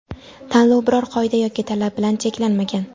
Tanlov biror qoida yoki talab bilan cheklanmagan.